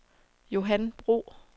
Johan Bro